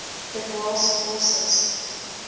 der waals forces